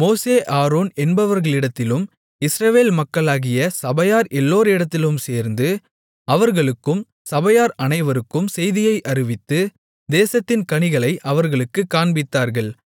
மோசே ஆரோன் என்பவர்களிடத்திலும் இஸ்ரவேல் மக்களாகிய சபையார் எல்லோரிடத்திலும் சேர்ந்து அவர்களுக்கும் சபையார் அனைவருக்கும் செய்தியை அறிவித்து தேசத்தின் கனிகளை அவர்களுக்குக் காண்பித்தார்கள்